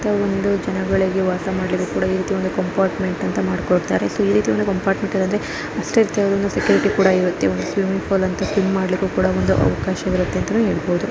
ಒಂದು ಜನಗಳಿಗೆ ವಾಸ ಮಾಡಲಿಕ್ಕೆ ಇರಿತಿ ಕಂಪಾರ್ಟುಮೆಂಟು ಅಂತ ಮಾಡಿ ಕೊಡ್ತಾರೆ ಸೊ ಈ ರೀತಿಯ ಕಂಪಾರ್ಟುಮೆಂಟು ಇರುತ್ತೆ ಅಷ್ಟೆ ಸೆಕ್ಯೂರಿಟಿ ಕೂಡ ಇರುತ್ತೆ ಒಂದು ಸ್ವಿಮ್ಮಿಂಗ್ ಪೂಲ್ ಸ್ವಿಮ್ ಮಾಡಲಿಕ್ಕೆ ಒಂದು ಅವಕಾಶ ಇರುತ್ತೆ ಅಂತನು ಹೇಳಬಹುದು.